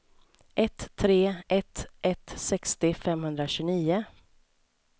ett tre ett ett sextio femhundratjugonio